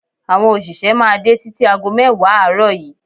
Àwọn òṣìṣẹ́ máa dé títí ago mẹ́wàá àárọ̀ yìí.